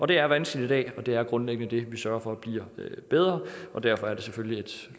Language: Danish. det er vanskeligt i dag og det er grundlæggende det vi sørger for bliver bedre derfor er det selvfølgelig et